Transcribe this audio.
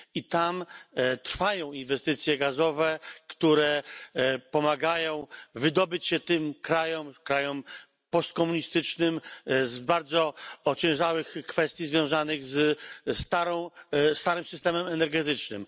I tam trwają inwestycje gazowe, które pomagają wydobyć się tym krajom, krajom postkomunistycznym, z bardzo ociężałych kwestii związanych ze starym systemem energetycznym.